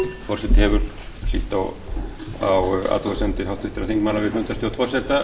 forseti hefur hlýtt á athugasemdir háttvirtra þingmanna við fundarstjórn forseta